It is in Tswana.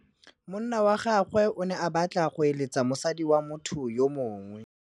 Monna wa gagwe o ne a batla go êlêtsa le mosadi wa motho yo mongwe.